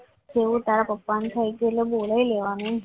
તો તારા પપ્પા થઈ ગયું તો બોલાવી લેવાનું.